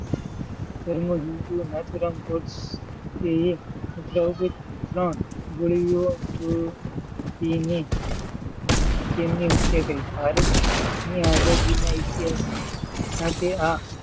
તેમનો હિંદ નથુરામ ગોડસેએ ઉપર ઉપરી ત્રણ ગોળી થી તેમની હત્યા કરી. ભારત ની આઝાદી નાં ઈતિહાસ સાથે આ,